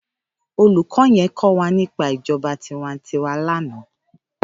Ólúkò yèn kòwá nipá ijòbá tiwántìwá làná